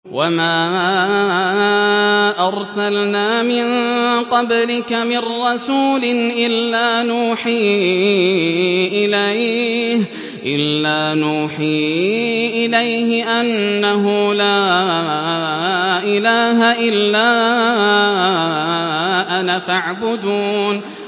وَمَا أَرْسَلْنَا مِن قَبْلِكَ مِن رَّسُولٍ إِلَّا نُوحِي إِلَيْهِ أَنَّهُ لَا إِلَٰهَ إِلَّا أَنَا فَاعْبُدُونِ